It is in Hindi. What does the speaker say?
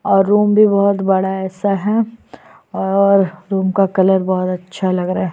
और रूम भी बहुत बड़ा सा है और रूम का कलर बहुत अच्छा लग रहा है ।